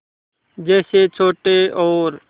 जैसे छोटे और